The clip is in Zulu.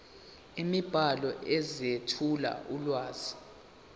imibhalo ezethula ulwazi